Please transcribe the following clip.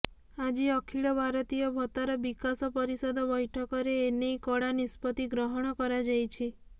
ଆଜି ଅଖିଳ ଭାରତୀୟ ଭତରା ବିକାଶ ପରିଷଦ ବ୘ଠକରେ ଏ ନେଇ କଡ଼ା ନିଷ୍ପତ୍ତି ଗ୍ରହଣ କରାଯାଇଛି